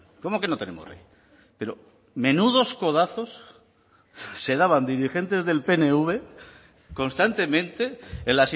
cómo que no tenemos rey pero menudos codazos se daban dirigentes del pnv constantemente en